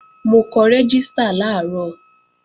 Mo kọ rẹ́gístà làárọ̀